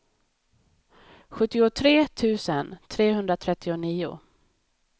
sjuttiotre tusen trehundratrettionio